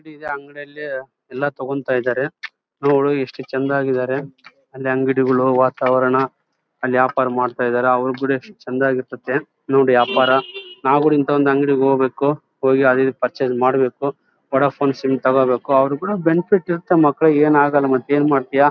ಅಂಗಡಿ ಇದೆ ಅಂಗಡಿಯಲ್ಲಿ ಎಲ್ಲ ತಗೋಂಥ ಇದಾರೆ ನೋಡು ಎಷ್ಟು ಚೆಂದವಾಗಿ ಇದ್ದಾರೆ ಅಂದ್ರೆ ಅಂಗಡಿಗಳು ವಾತಾವರಣ ಅಲ್ಲಿ ವ್ಯಾಪಾರ ಮಾಡ್ತಾಯಿದ್ದರೆ ಅವರ್ ಎಸ್ಟ್ ಚೆಂದ ಆಗಿ ಇರ್ತಾತ್ತೆ ನೋಡು ವ್ಯಾಪಾರ ನಾವು ಕೂಡ ಇಂಥ ಅಂಗಡಿಗೆ ಹೋಗ್ಬೇಕು ಹೋಗಿ ಅದು ಇದು ಪರ್ಚೇಸ್ ಮಾಡ್ಬೇಕು ವೋಡಫೋನೆ ಸಿಮ್ ತಗೋಬೇಕು ಅವರಿಗೂ ಕೂಡ ಬೆನಿಫಿಟ್ ಇರುತ್ತೆ ಮಕ್ಕಳಿಗೆ ಏನು ಆಗಲ್ಲ ಮತ್ ಏನ್ ಮಾಡ್ತಿಯಾ.